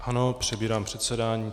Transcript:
Ano, přebírám předsedání.